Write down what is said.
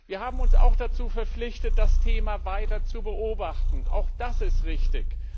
Wir haben uns auch dazu verpflichtet, das Thema weiter zu beobachten auch das ist richtig.